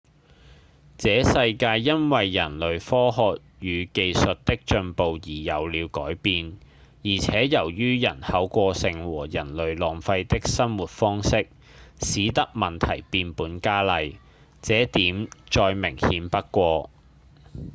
這世界因為人類科學與技術的進步而有了改變而且由於人口過剩和人類浪費的生活方式使得問題變本加厲這點再明顯不過